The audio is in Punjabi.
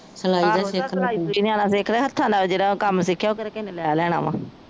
ਸਲਾਈ ਸਲੂਈ ਨਿਆਣਾ ਸਿਖਲੇ ਹੱਥਾਂ ਦਾ ਜੇਹੜਾ ਕਾਮ ਸਿੱਖਿਆ ਉਹ ਕੇਹੜਾ ਕਿਸੇ ਨੇ ਲੈ ਲੈਣਾ ਵਾ